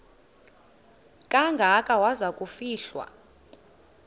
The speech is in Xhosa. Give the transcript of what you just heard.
kangaka waza kufihlwa